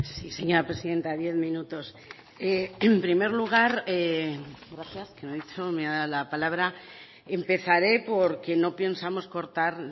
señora presidenta diez minutos en primer lugar gracias que no he dicho cuando me ha dado la palabra empezaré porque no pensamos cortar